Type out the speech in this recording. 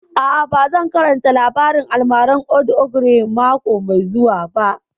A'a, ba zan karanta labarin almaran old ogre mako mai zuwa